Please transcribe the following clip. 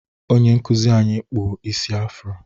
Onye nkụzị anyị na-akpụ isi afro.